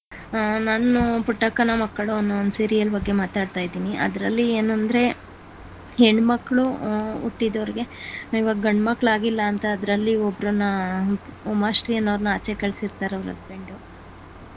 ಹ ನಾನು ಪುಟ್ಟಕ್ಕನ ಮಕ್ಕಳು ಅನ್ನೋ one serial ಬಗ್ಗೆ ಮಾತಾಡ್ತಾ ಇದ್ದೀನಿ ಅದರಲ್ಲಿ ಏನಂದ್ರೆ ಹೆಣ್ ಮಕ್ಳು ಹು~ ಹುಟ್ಟಿದವ್ರ್ಗೆ ಗಂಡು ಮಕ್ಳು ಆಗಿಲ್ಲ ಅಂತ ಅದರಲ್ಲಿ ಉಮಾಶ್ರೀ ಅನ್ನೋರನ ಆಚೆ ಕಳ್ಸಿರ್ತಾರೆ ಅವ್ರ husband .